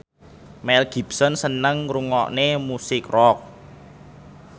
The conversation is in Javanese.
Mel Gibson seneng ngrungokne musik rock